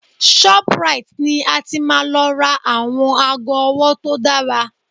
Shoprite ni a ti máa lọ ra àwọn aago ọwọ́ tó dára